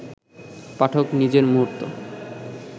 পাঠক নিজের মুহূর্ত